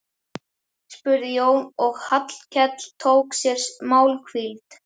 spurði Jón þegar Hallkell tók sér málhvíld.